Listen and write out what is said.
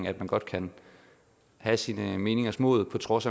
at man godt kan have sine meningers mod på trods